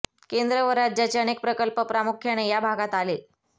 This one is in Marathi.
केंद्र व राज्याचे अनेक प्रकल्प प्रामुख्याने या भागात आले